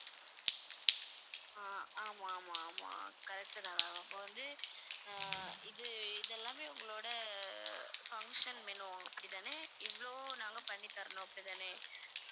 ஆஹ் ஆமாம் ஆமாம் ஆமாம் correct தான் ma'am அப்ப வந்து அஹ் இது இதெல்லாமே உங்களோட அஹ் function menu அப்படி தானே இவ்வளவும் நாங்க பண்ணி தரணும் அப்படித்தானே